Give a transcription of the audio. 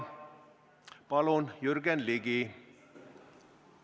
Palun, Jürgen Ligi!